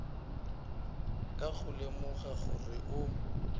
ka go lemoga gore o